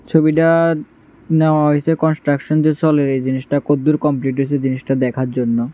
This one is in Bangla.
ছবিটা নেওয়া হইসে কনস্ট্রাকশন যে চলে এই জিনিসটা কতদূর কমপ্লিট হইসে জিনিসটা দেখার জন্য।